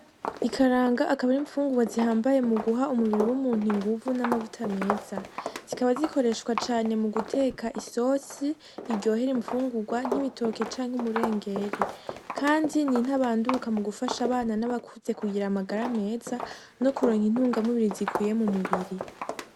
Ikaranga akaba ari imfungurwa zihambaye muguha umubiri w'umuntu inguvu namavuta meza zikaba zikoreshwa cane muguteka isosi iryohera imfungurwa nk'ibitoke canke umurengere kandi ni ntabanduka mugufasha abana nabakuze kugira amagara meza nokuronka intungamubiri zikwiye mumubiri